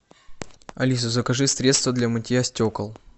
алиса закажи средство для мытья стекол